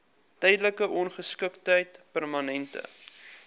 tydelike ongeskiktheid permanente